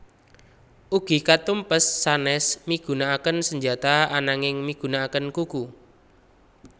Ugi katumpes sanes migunankaken senjata ananging migunakaken kuku